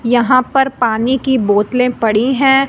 यहां पर पानी की बोतले पड़ी हैं।